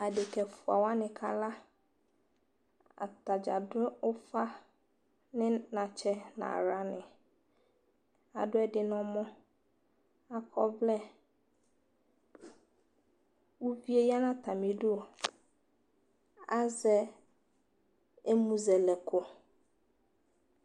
Adeka ɛfʋa wani kala Atadza adu ʋfa ni natsɛ nʋ aɣla ni Adu ɛdi nɔmɔ Akɔ ɔvlɛ Ʋvi e yanʋ atami idu Azɛ ɛmʋzɛlɛko